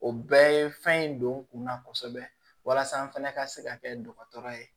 O bɛɛ ye fɛn in don kunna kosɛbɛ walasa n fɛnɛ ka se ka kɛ dɔgɔtɔrɔ ye